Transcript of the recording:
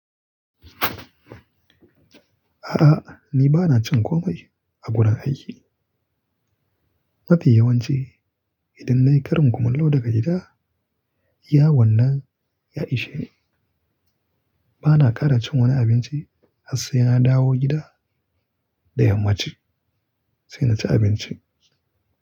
A'a ni bana cin komai a gurin aiki. Mafi yawanci idan nayi ƙarin kumallo daga gida, iyawannan ya ishe ni. Bana ƙara cin wani abinci har sai na dawo gida da yammaci sai na ci abinci.